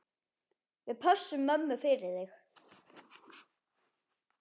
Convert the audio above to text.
Við pössum mömmu fyrir þig.